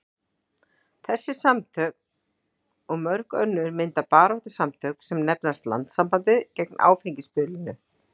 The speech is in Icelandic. Þessi samtök og mörg önnur mynda baráttusamtök sem nefnast Landssambandið gegn áfengisbölinu.